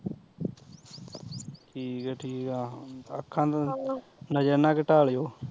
ਠੀਕ ਐ ਠੀਕ ਐ ਅੱਖਾਂ ਦੀ ਨਜ਼ਰ ਨਾ ਘਟਾ ਲੀਓ